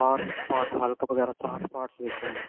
ਸਾਰੇ part hulk ਵਗੇਰਾ ਤਾਂ third part ਸਾਰੇ ਵੇਖੇ ਹੋਏ